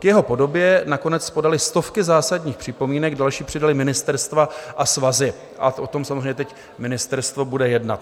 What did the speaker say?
K jeho podobě nakonec podaly stovky zásadních připomínek, další přidala ministerstva a svazy a o tom samozřejmě teď ministerstvo bude jednat.